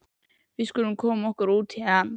Við skulum koma okkur út héðan.